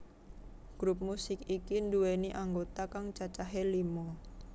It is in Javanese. Grup musik iki nduwèni anggota kang cacahé lima